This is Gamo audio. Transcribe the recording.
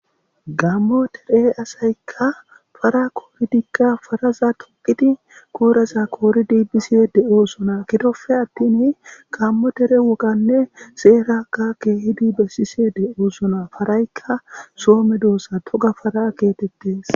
Gaamo dere asayika paara koriddi paraza togid kotaza koriddi de'osona giddope atin gaamo dere wogane seraka keehidi beessishe de'osona.parayika so medosa toga paara getetes.